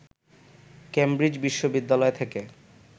Cambridge বিশ্ববিদ্যালয় থেকে